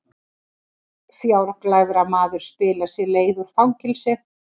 Fjárglæframaður spilar sér leið úr fangelsi